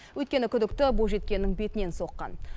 өйткені күдікті бойжеткеннің бетінен соққан